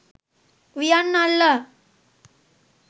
වියන් අල්ලා